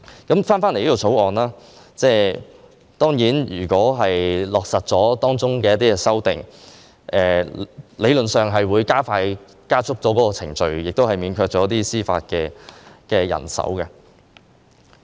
就《條例草案》，如果落實當中的一些修訂，理論上會加速處理程序，亦免卻一些司法人手。